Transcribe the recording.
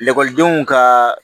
Ekɔlidenw ka